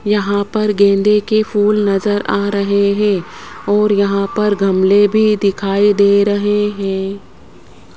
यहां पर गेंदे के फूल नजर आ रहे हैं और यहां पर गमले भी दिखाई दे रहे हैं।